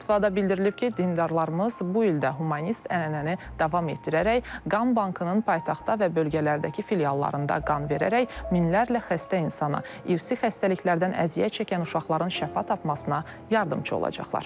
Fətvada bildirilib ki, dindarlarımız bu ildə humanist ənənəni davam etdirərək Qan Bankının paytaxtda və bölgələrdəki filiallarında qan verərək minlərlə xəstə insana, irsi xəstəliklərdən əziyyət çəkən uşaqların şəfa tapmasına yardımçı olacaqlar.